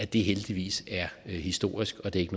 det er heldigvis historisk og det er ikke